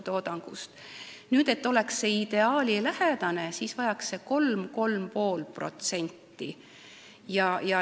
Et olukord oleks ideaalilähedane, oleks vaja 3–3,5%.